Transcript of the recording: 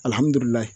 Alihamudulila